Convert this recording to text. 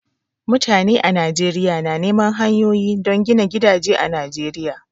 Mutane a Najeriya na neman hanyoyi don gina gidaje a Najeriya